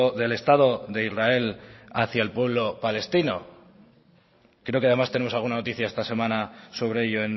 del estado de israel hacia el pueblo palestino creo que además tenemos alguna noticia esta semana sobre ello